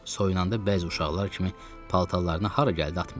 Soyunanda bəzi uşaqlar kimi paltarlarını hara gəldi atmırdı.